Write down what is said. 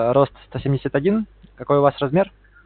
а рост сто семьдесят один какой у вас размер